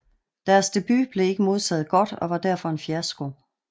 Deres debut blev ikke modtaget godt og var derfor en fiasko